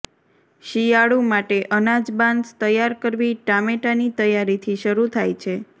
શિયાળુ માટે અનાજ બાન્સ તૈયાર કરવી ટામેટાંની તૈયારીથી શરૂ થાય છે